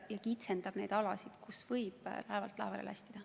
See kitsendab neid alasid, kus võib laevalt laevale lastida.